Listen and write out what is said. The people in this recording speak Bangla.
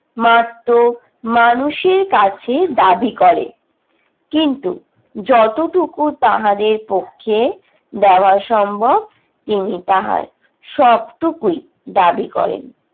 মার্তো মানুষের কাছে দাবি করে। কিন্তু যতটুকু তাহাদের পক্ষে দেওয়া সম্ভব তিনি তাহার সবটুকুই দাবি করেন।